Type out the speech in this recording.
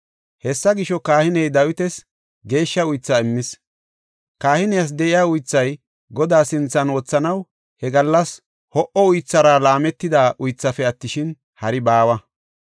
Hessa gisho, kahiney Dawitas geeshsha uythaa immis. Kahiniyas de7iya uythay, Godaa sinthan wothanaw he gallas ho77o uythara laametida uythaafe attishin, hari baawa.